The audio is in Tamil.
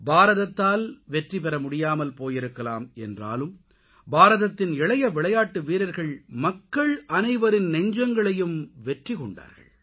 பாரதத்தால் வெற்றி பெறமுடியாமல் போயிருக்கலாம் என்றாலும் பாரதத்தின் இளைய விளையாட்டு வீரர்கள் மக்கள் அனைவரின் நெஞ்சங்களையும் வெற்றி கொண்டார்கள்